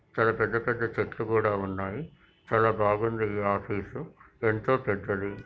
ఇక్కడ పెద్ద పెద్ద చెట్లు కూడా ఉన్నాయి చాలా బాగుంది ఇది ఆఫీస్ ఎంతో పెద్దదీ .